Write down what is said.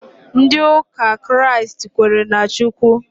Ndị ụka Kraịst kwenyere na Chukwu